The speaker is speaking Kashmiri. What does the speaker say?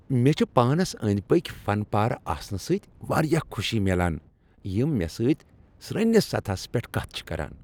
مےٚ چھ پانس أندۍ پٔکۍ فن پارٕ آسنہٕ سۭتۍ واریاہ خوشی میلان یِم مےٚ سۭتۍ سٕرنِس سطحس پٮ۪ٹھ کتھ چھ کران ۔